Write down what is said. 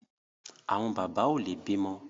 Àwọn bàbá ò lè bímọ